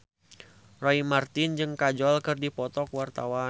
Roy Marten jeung Kajol keur dipoto ku wartawan